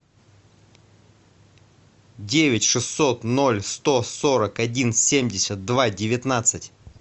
девять шестьсот ноль сто сорок один семьдесят два девятнадцать